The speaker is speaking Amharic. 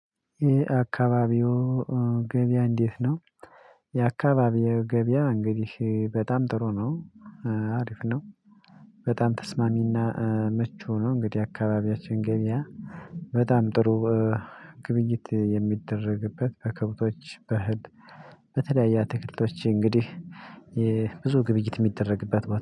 የ አካባቢው ገበያ እንዴት ነው? የአካባቢው ገበያ እንግዲህ በጣም ጥሩ ነው። አሪፍ ነው። በጣም ተስማሚና ምቹ ነው እንግዲህ አካባቢያችን ገበያ በጣም ጥሩ። ግብይት የሚደረግበት ከከብቶች በእህል በተለያየ አትክልቶች እንግዲህ ብዙ ግብይት የሚደረግበት